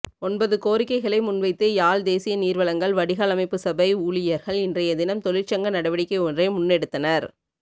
ஒன்பது கோரிக்கைகளை முன்வைத்து யாழ் தேசிய நீர்வழங்கல் வடிகாலமைப்புசபை ஊழியர்கள் இன்றையதினம் தொழிற்சங்க நடவடிக்கை ஒன்றை முன்னெடுத்தனர்